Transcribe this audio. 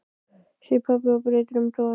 segir pabbi og breytir um tón.